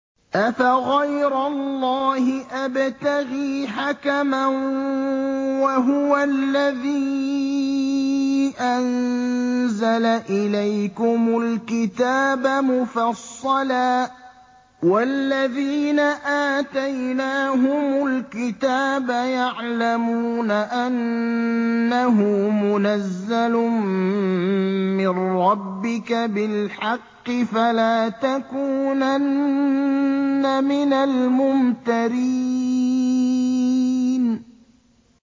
أَفَغَيْرَ اللَّهِ أَبْتَغِي حَكَمًا وَهُوَ الَّذِي أَنزَلَ إِلَيْكُمُ الْكِتَابَ مُفَصَّلًا ۚ وَالَّذِينَ آتَيْنَاهُمُ الْكِتَابَ يَعْلَمُونَ أَنَّهُ مُنَزَّلٌ مِّن رَّبِّكَ بِالْحَقِّ ۖ فَلَا تَكُونَنَّ مِنَ الْمُمْتَرِينَ